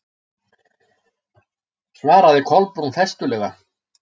svaraði Kolbrún festulega.